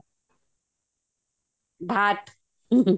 ଭାତ ଭାତ